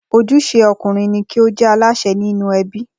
Ojúṣe ọkùnrin ní kí ó jẹ́ Aláṣẹ nínú ẹbí